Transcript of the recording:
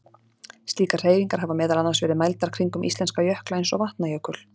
slíkar hreyfingar hafa meðal annars verið mældar kringum íslenska jökla eins og vatnajökul